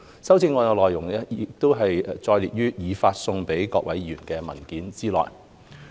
修正案的內容載列於已發送給各位議員的文件內。